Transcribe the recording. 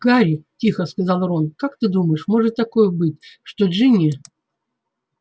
гарри тихо сказал рон как ты думаешь может такое быть что джинни